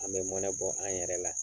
An bɛ mɔnɛ bɔ an yɛrɛ la